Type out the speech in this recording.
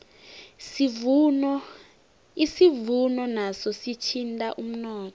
isivuno naso sithinta umnotho